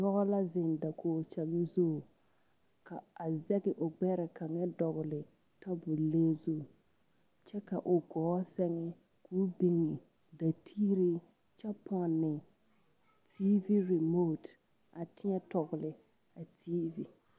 Pɔɡe la zeŋ dakoɡikyaɡe zu a zɛɡe o ɡbɛre kaŋa dɔɔle tabuli zu kyɛ ka o ɡɔɔ sɛɡe ka o biŋ dateere kyɛ pɔne tiivi rimooti a tēɛtɔɔle a tiivi.